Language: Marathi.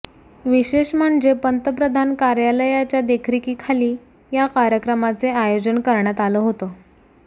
विशेष म्हणजे पंतप्रधान कार्यालयाच्या देखरेखीखाली या कार्यक्रमाचे आयोजन करण्यात आलं होतं